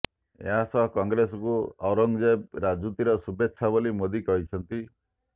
ଏହାସହ କଂଗ୍ରେସକୁ ଔରଙ୍ଗଜେବ ରାଜୁତିର ଶୁଭେଚ୍ଛା ବୋଲି ମୋଦି କହିଛନ୍ତି